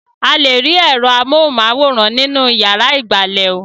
A lè rí ẹ̀rọ amóhùmáwòhán nínú ìyàrá ìgbàlè ò.